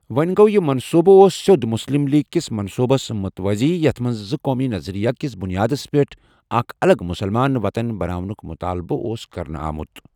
وۄنہِ گوٚو یہِ منصوٗبہٕ اوس سیوٚد مُسلِم لیٖگ کِس منصوٗبس مُتوٲزی یَتھ منٛز زٕقومی نظریہ کِس بُنیادس پیٚٹھ اَکھ اَلگ مُسلمان وطُن بناونُک مُطالبہٕ اوس کرنہٕ آمُت.